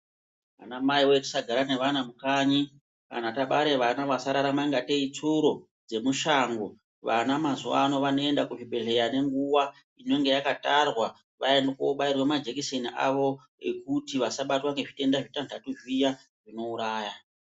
Vanamai voye tisagara nevana mukanyi kana tabara vana vasararama kunge tei itsuro dzemushango. Vana mazuva ano vanoenda kuchibhedhleya nenguva inenge yakatarwa vaende kobairwa majekiseni avo ekuti vasabatwa ngezvirwere zvitanhatu zviya zvinouraya.